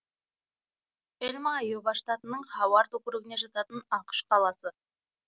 элма айова штатының хауард округіне жататын ақш қаласы